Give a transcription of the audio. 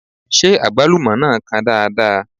Ṣé Àgbálúmọ náà kan dáadáa?